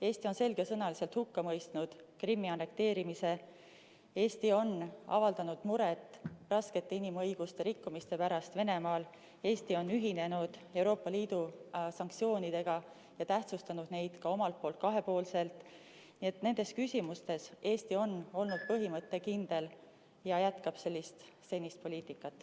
Eesti on selgesõnaliselt hukka mõistnud Krimmi annekteerimise, Eesti on avaldanud muret inimõiguste raskete rikkumiste pärast Venemaal, Eesti on ühinenud Euroopa Liidu sanktsioonidega ja tähtsustanud neid ka omalt poolt kahepoolselt, nii et nendes küsimustes on Eesti olnud põhimõttekindel ja jätkab senist poliitikat.